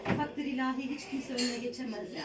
Takdir ilahi heç kimsə önünə keçə bilməz yəni.